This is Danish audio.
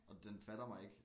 Og den fatter mig ikke